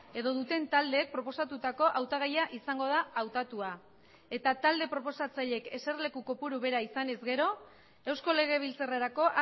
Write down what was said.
edo duten taldeek proposatutako hautagaia izango da hautatua eta talde proposatzaileek eserleku kopuru bera izanez gero eusko legebiltzarrerako